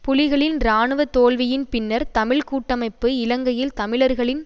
புலிகளின் இராணுவ தோல்வியின் பின்னர் தமிழ் கூட்டமைப்பு இலங்கையில் தமிழர்களின்